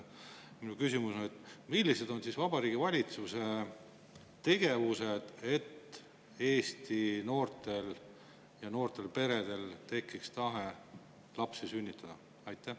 Minu küsimus on: millised on Vabariigi Valitsuse tegevused, et Eesti noortel ja noortel peredel tekiks tahe lapsi sünnitada?